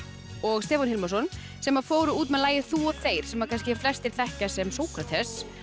og Stefán Hilmarsson sem fóru út með lagið þú og þeir sem kannski flestir þekkja sem Sókrates